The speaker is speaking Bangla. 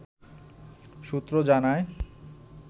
সূত্র জানায়